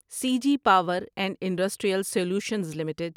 C G Power and Industrial Solutions limited